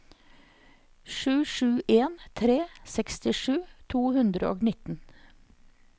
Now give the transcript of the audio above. sju sju en tre sekstisju to hundre og nitten